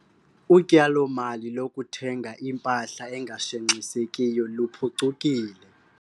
Utyalomali lokuthenga impahla engashenxisekiyo luphucukile.